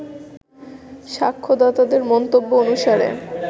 সাক্ষ্যদাতাদের বক্তব্য অনুসারে